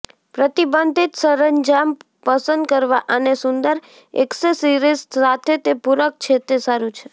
પ્રતિબંધિત સરંજામ પસંદ કરવા અને સુંદર એક્સેસરીઝ સાથે તે પૂરક છે તે સારું છે